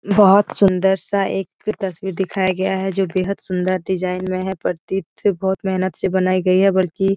बोहोत सुन्दर-सा एक तस्वीर दिखाया गया है जो बेहद सुन्दर डिज़ाइन में है प्रतीत त बहोत मेहनत से बनाई गई है बल्की --